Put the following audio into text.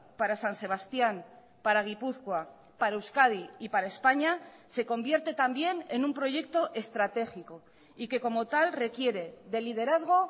para san sebastián para gipuzkoa para euskadi y para españa se convierte también en un proyecto estratégico y que como tal requiere de liderazgo